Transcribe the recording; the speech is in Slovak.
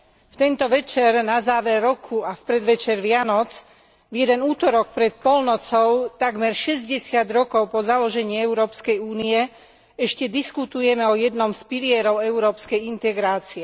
V tento večer na záver roku a v predvečer Vianoc, v jeden utorok pred polnocou, takmer šesťdesiat rokov po založení Európskej únie, ešte diskutujeme o jednom z pilierov európskej integrácie.